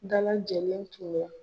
Da lajɛlen tun bɛ.